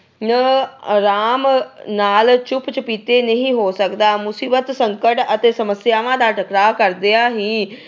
ਅਹ ਅਰਾਮ ਨਾਲ ਚੁੱਪ-ਚੁੱਪੀਤੇ ਨਹੀਂ ਹੋ ਸਕਦਾ। ਮੁਸੀਬਤ, ਸੰਕਟ ਅਤੇ ਸਮੱਸਿਆਵਾਂ ਦਾ ਟਾਕਰਾ ਕਰਦਿਆਂ ਹੀ